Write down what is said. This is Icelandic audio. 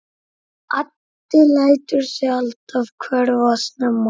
Addi lætur sig alltaf hverfa snemma.